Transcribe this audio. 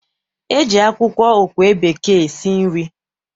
E ji akwụkwọ okwe bekee esi nri.